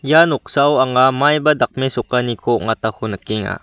ia noksao anga maiba dakmesokaniko ong·atako nikenga.